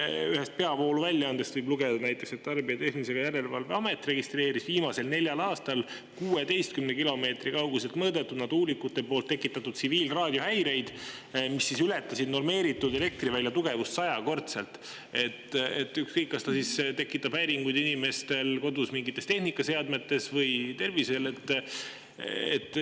Ühest peavooluväljaandest võib näiteks lugeda, et Tarbijakaitse ja Tehnilise Järelevalve Amet on viimasel neljal aastal registreerinud 16 kilomeetri kauguselt mõõdetud tsiviilraadio häireid, mis on tekitatud tuulikute poolt ja mis ületasid elektrivälja normeeritud tugevust sajakordselt, kas need tekitavad siis inimeste kodus häiringuid mingites tehnikaseadmetes või inimeste tervisele.